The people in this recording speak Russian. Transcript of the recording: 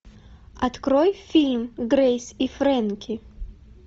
открой фильм грейс и фрэнки